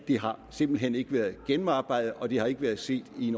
har simpelt hen ikke været gennemarbejdet og det har ikke været set i en